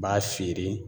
N b'a siri